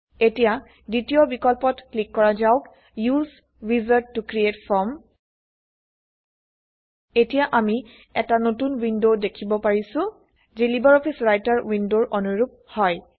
এতিয়া দ্বিতীয় বিকল্পত ক্লিক কৰা যাওক উচে উইজাৰ্ড ত ক্ৰিএট ফৰ্ম এতিয়া আমি এটা নতুন উইন্ডো দেখিব পাৰিছো যি লাইব্ৰঅফিছ ৰাইটাৰ উইন্ডোৰ অনুৰুপ হয়